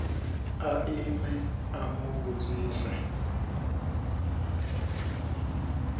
a ime a mu vhudzisa